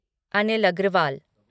Anil Agarwal